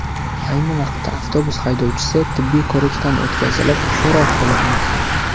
Ayni vaqtda avtobus haydovchisi tibbiy ko‘rikdan o‘tkazilib, so‘roq qilinmoqda.